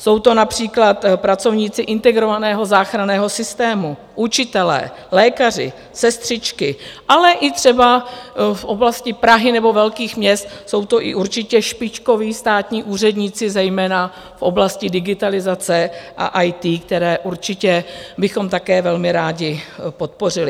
Jsou to například pracovníci integrovaného záchranného systému, učitelé, lékaři, sestřičky, ale i třeba v oblasti Prahy nebo velkých měst jsou to i určitě špičkoví státní úředníci, zejména v oblasti digitalizace a IT, které určitě bychom také velmi rádi podpořili.